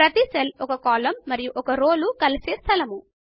ప్రతి సెల్ ఒక కాలమ్ మరియు ఒక రోలు కలిసేస్థలము